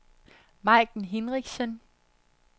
Maiken Hinrichsen